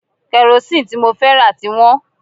Karosín tí mo fẹ́ rà ti wọ́n